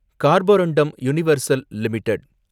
கார்போருண்டும் Universal limited